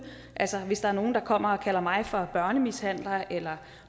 altså hvis der er nogle der kommer og kalder mig for børnemishandler eller